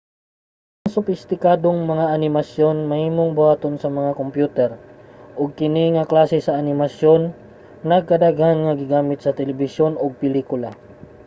ang sopistikadong mga animasyon mahimong buhaton sa mga kompyuter ug kini nga klase sa animasyon nagkadaghan nga gigamit sa telebisyon ug pelikula